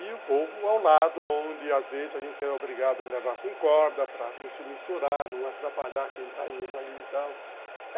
E o povo ao lado, onde às vezes a gente era obrigado a levar com corda para não se misturar, não atrapalhar quem está indo ali e tal.